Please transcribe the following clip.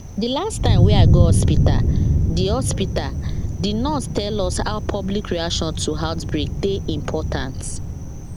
de last time wey i go hospitalthe hospitalthe nurse tell us how public reaction to outbreak dey important